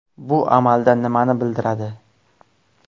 Bu amalda nimani bildiradi?